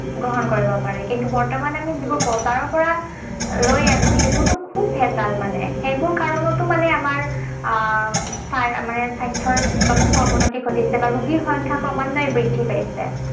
গ্ৰহণ কৰিব পাৰে। কিন্তু বৰ্তমান আমি যিবোৰ বজাৰৰ পৰা লৈ আনো, সেইবোৰতো খুব ভেঁজাল মানে। সেইবোৰ কাৰণতো মানে আমাৰ আহ মানে স্বাস্থ্যৰ যথেষ্ঠ অৱনতি ঘটিছে। বা ৰোগীৰ সংখ্যা ক্ৰমান্বয়ে বৃদ্ধি পাইছে।